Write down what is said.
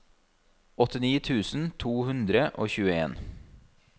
åttini tusen to hundre og tjueen